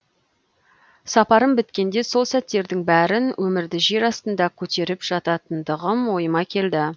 сапарым біткенде сол сәттердің бәрін өмірді жер астында көтеріп жататындығым ойыма келді